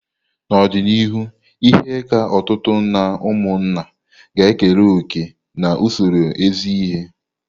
N'ọdịnihu, ihe ka ọtụtụ n'ụmụnna ga ekere òkè n'usoro izi ihe.